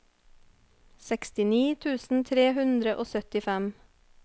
sekstini tusen tre hundre og syttifem